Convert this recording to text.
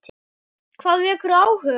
Hvað vekur áhuga þinn?